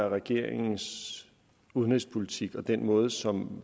er regeringens udenrigspolitik og den måde som